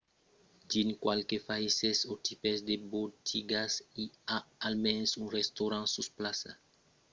dins qualques païses o tipes de botigas i a almens un restaurant sus plaça sovent un qu'es pro informal amb de prèses rasonables